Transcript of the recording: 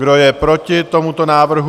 Kdo je proti tomuto návrhu?